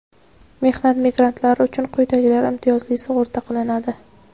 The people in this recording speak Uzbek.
mehnat migrantlari uchun quyidagilar imtiyozli sug‘urta qilinadi:.